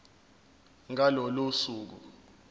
ngalo lolo suku